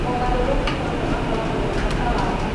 Mogarũrũku mothe makoragwo na bata wamo.